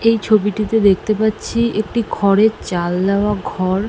এই ছবিটিতে দেখতে পাচ্ছি একটি খড়ের চাল দেওয়া ঘর।